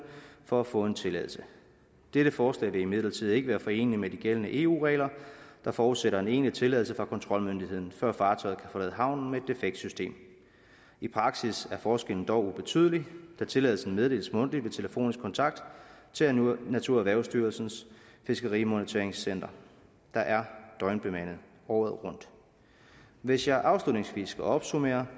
for at få en tilladelse dette forslag vil imidlertid ikke være foreneligt med de gældende eu regler der forudsætter en egentlig tilladelse fra kontrolmyndigheden før fartøjet kan forlade havnen med et defekt system i praksis er forskellen dog ubetydelig da tilladelsen meddeles mundtligt ved telefonisk kontakt til naturerhvervsstyrelsens fiskeri moniterings center der er døgnbemandet året rundt hvis jeg afslutningsvis skal opsummere